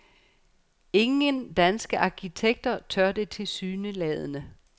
Ingen danske arkitekter tør det tilsyneladende.